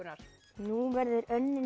nú verður